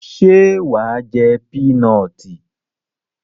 Ṣé wà á jé pínọọ̀tì?